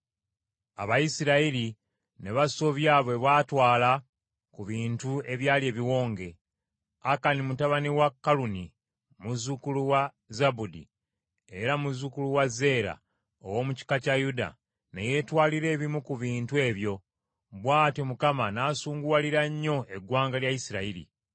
Abayisirayiri ne basobya bwe baatwala ku bintu ebyali ebiwonge; Akani mutabani wa Kaluni muzzukulu wa Zabudi era muzzukulu wa Zeera ow’omu kika kya Yuda, ne yeetwalira ebimu ku bintu ebyo: bw’atyo Mukama n’asunguwalira nnyo eggwanga lya Isirayiri.